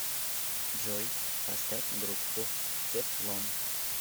джой поставь группу тефлон